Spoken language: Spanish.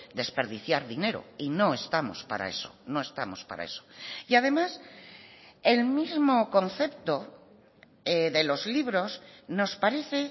desperdiciar dinero y no estamos para eso no estamos para eso y además el mismo concepto de los libros nos parece